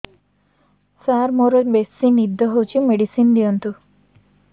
ସାର ମୋରୋ ବେସି ନିଦ ହଉଚି ମେଡିସିନ ଦିଅନ୍ତୁ